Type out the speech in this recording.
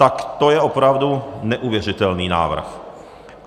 Tak to je opravdu neuvěřitelný návrh.